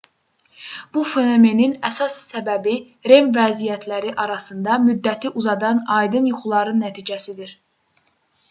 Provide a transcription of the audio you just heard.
bu fenomenin əsas səbəbi rem vəziyyətləri arasında müddəti uzadan aydın yuxuların nəticəsidir